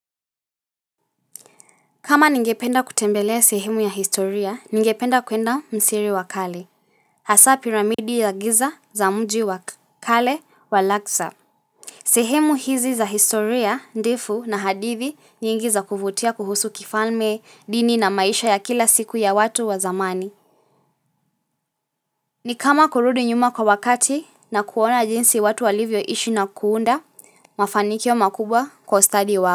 Kama ningependa kutembelea sehemu ya historia, ningependa kuenda misri wa kale. Hasa piramidi ya giza za mji wa kale wa laksa. Sehemu hizi za historia, ndifu na hadithi nyingi za kuvutia kuhusu kifalme, dini na maisha ya kila siku ya watu wa zamani. Ni kama kurudi nyuma kwa wakati na kuona jinsi watu walivyoishi na kuunda, mafanikio makubwa kwa ustadi wao.